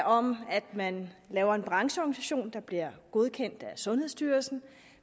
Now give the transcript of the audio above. om at man laver en brancheorganisation der bliver godkendt af sundhedsstyrelsen